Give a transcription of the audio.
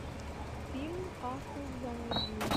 фильм касл заводи